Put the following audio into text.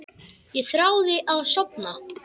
Ég þráði að sofna.